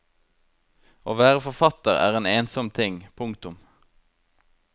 Å være forfatter er en ensom ting. punktum